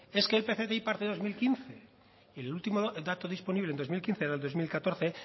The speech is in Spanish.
es que el parte de dos mil quince y el último dato disponible en dos mil quince era dos mil catorce